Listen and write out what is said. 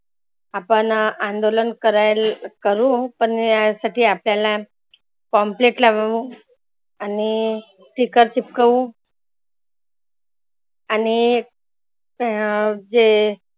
आपण अंदोलन करायल करु पण या साठी आपल्याला pamphlet लावू आणि sticker चिटकवू आणि अं जे